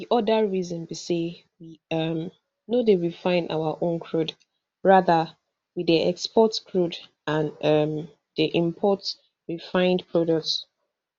di oda reason be say we um no dey refine our own crude rather we dey export crude and um dey import refined products